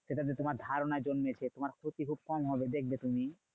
সেটা তে তোমার ধারণা জন্মেছে। তোমার ক্ষতি খুব কম হবে দেখবে তুমি?